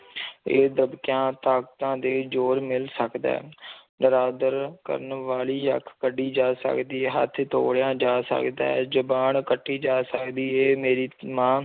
ਇਹ ਦੱਬਕਿਆਂ, ਤਾਕਤਾਂ ਦੇ ਜ਼ੋਰ ਮਿਲ ਸਕਦਾ ਹੈ ਨਿਰਾਦਰ ਕਰਨ ਵਾਲੀ ਅੱਖ ਕੱਢੀ ਜਾ ਸਕਦੀ ਹੈ, ਹੱਥ ਤੋੜਿਆ ਜਾ ਸਕਦਾ ਹੈ ਜ਼ੁਬਾਨ ਕੱਟੀ ਜਾ ਸਕਦੀ ਹੈ ਮੇਰੀ ਮਾਂ